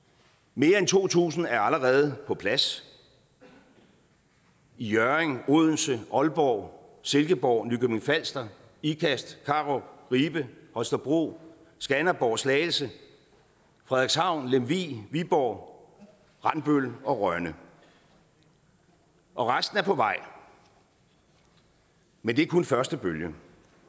mere end to tusind er allerede på plads i hjørring odense aalborg silkeborg nykøbing falster ikast karup ribe holstebro skanderborg slagelse frederikshavn lemvig viborg randbøl og rønne og resten er på vej men det er kun første bølge